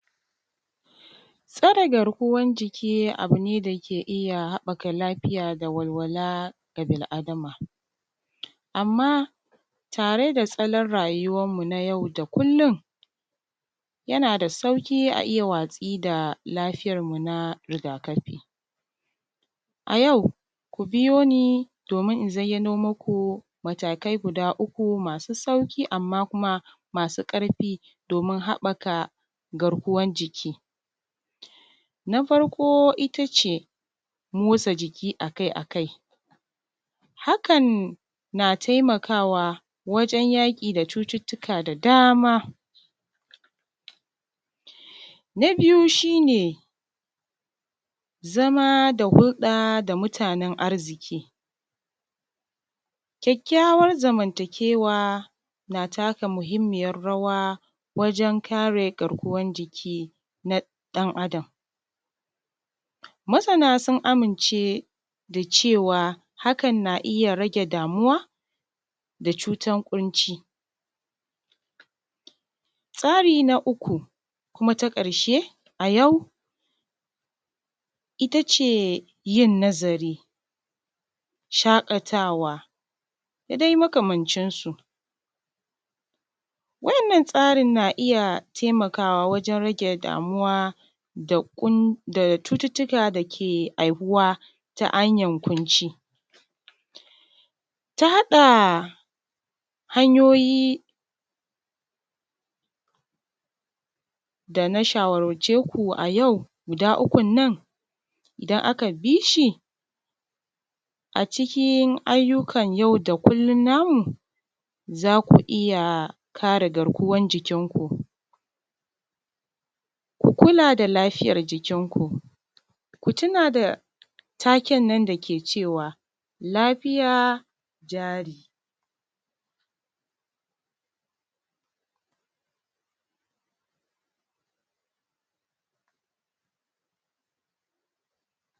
Tsare garkuwan jiki abu ne da ke iya haɓɓaka lafiya da walwala ga bil Adama. Amma tare da salon rayuwar mutum na yau da kullum, yana sauƙi a iya watsi da lafiyar mu na rigakafi. A yau ku biyo ni domin in zayyano maku matakai guda uku masu sauƙi amma kuma masu ƙarfi domin haɓɓaka garkuwan jiki. Na farko it ace motsa jiki akai akai. Hakan na taimakawa wajen yaƙi da cututtuka da dama. Na biyu shi ne zama da hulɗa da mutanen arziki. Kyakkyawan zamantakewa na taka muhimmiyar rawa wajen kare garkuwan jiki na ɗan Adam. Masana sun amince da cewa hakan na iya rage damuwa da cutan ƙunci. Tsari na uku kuma na ƙarshe a yau ita ce yin nazari, shaƙatawa, da dai makamancinsu. Wa’innan tsarin na iya taimakawa wajen rage damuwa da cututtuka dake haihuwa ta hanyan ƙunci. Ta haɗa hanyoyi da na shawarce ku a yau, guda ukun nan, idan aka bi shi, a cikin ayyukan yau da kullum na mu, za ku iya kare garkuwan jikin ku. Ku kula da lafiyar jikin ku. Ku tuna da taken nan da ke cewa lafiya jari.